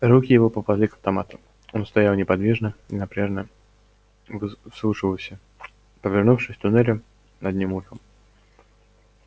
руки его попали к автомату он стоял неподвижно и напряжнно вслушивался повернувшись к туннелю одним ухом